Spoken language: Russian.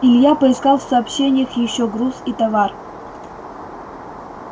илья поискал в сообщениях ещё груз и товар